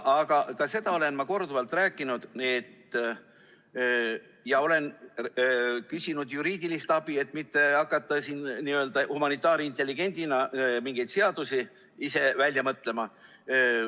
Aga ka seda olen ma korduvalt rääkinud ja olen küsinud juriidilist abi, et mitte hakata siin n‑ö humanitaarintelligendina ise mingeid seadusi välja mõtlema.